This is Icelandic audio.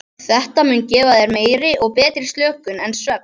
Þetta mun gefa þér meiri og betri slökun en svefn.